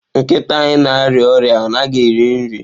Nkịta anyị na-arịa ọrịa, ọ naghị eri nri.